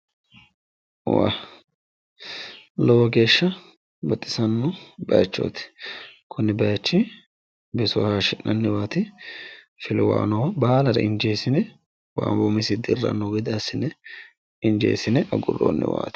lowo geeshsha baxisanno bayiichooti kuni bayiichi biso hayiishshi'nanniwaati filiwuha noohu baalare injeessine wayi umisinni dirranno gede assine injeessine agurroonniwaati.